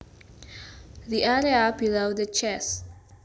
The area below the chest